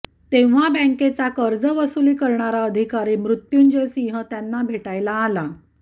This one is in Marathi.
तेव्हा बँकेचा कर्जवसुली करणा अधिकारी मृत्यूंजय सिंह त्यांना भेटायला आला